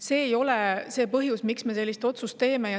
See ei ole põhjus, miks me selle otsuse teeme.